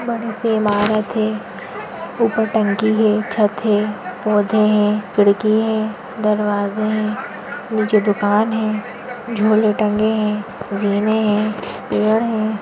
बड़ीसी इमारत है ऊपर टंकी है छत है पौधे है खिड़की है दरवाजे है नीचे दुकान है झोले टंगे है जीने है पेड़ है।